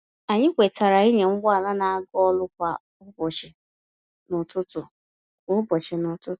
Anyị kwetara ịnya ụgbọ ala na-aga ọrụ kwa ụbọchị n'ụtụtụ. kwa ụbọchị n'ụtụtụ.